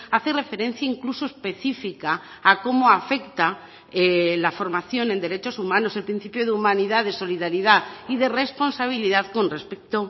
hace referencia incluso específica a cómo afecta la formación en derechos humanos el principio de humanidad de solidaridad y de responsabilidad con respecto